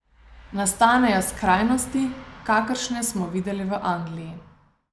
Nastanejo skrajnosti, kakršne smo videli v Angliji.